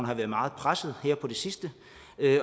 har været meget presset her på det sidste